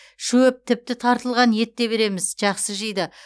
шөп тіпті тартылған ет те береміз жақсы жейді